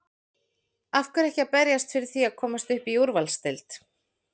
Af hverju ekki að berjast fyrir því að komast upp í úrvalsdeild?